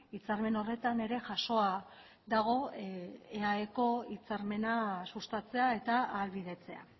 hitzarmen horretan ere jasoa dago eaeko hitzarmena sustatzea eta ahalbidetzea